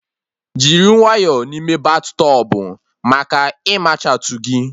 Jiri nwayọ n'ime battọbụ maka ịmachatu gị